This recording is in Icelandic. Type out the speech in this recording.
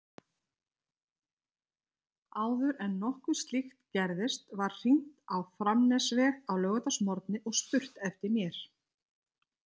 Áður en nokkuð slíkt gerðist var hringt á Framnesveg á laugardagsmorgni og spurt eftir mér.